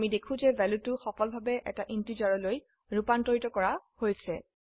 আমি দেখি যে ভ্যালুটো সফলভাবে এটি ইন্টিজাৰলৈ ৰুপান্তৰিত কৰা হৈছে